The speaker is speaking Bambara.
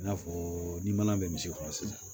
I n'a fɔ ni mana bɛ misi kɔnɔ sisan